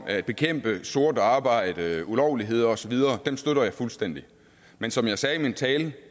at bekæmpe sort arbejde ulovligheder osv støtter jeg fuldstændig men som jeg sagde i min tale